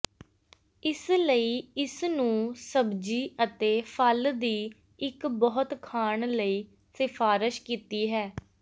ਇਸ ਲਈ ਇਸ ਨੂੰ ਸਬਜ਼ੀ ਅਤੇ ਫਲ ਦੀ ਇੱਕ ਬਹੁਤ ਖਾਣ ਲਈ ਸਿਫਾਰਸ਼ ਕੀਤੀ ਹੈ